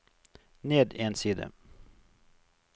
ned en side